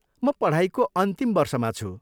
म पढाइको अन्तिम वर्षमा छु।